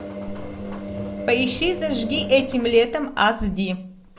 поищи зажги этим летом аш ди